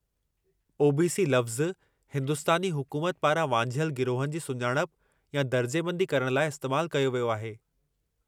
OBC. लफ़्ज़ु हिंदुस्तानी हुकूमत पारां वांझियलु गिरोहनि जी सुञाणप या दर्जाबंदी करण लाइ इस्तैमालु कयो वियो आहे।